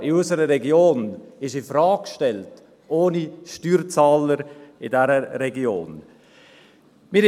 Skifahren in unserer Region ist ohne Steuerzahler in dieser Region infrage gestellt.